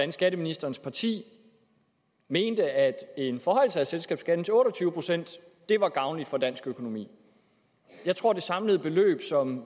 at skatteministerens parti mente at en forhøjelse af selskabsskatten til otte og tyve procent var gavnlig for dansk økonomi jeg tror at det samlede beløb som